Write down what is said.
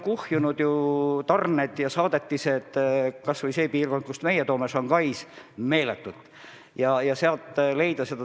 Hiinas on tarnesaadetised meeletult kuhjunud, kas või selles piirkonnas, kust meie toome, ehk siis Shanghais.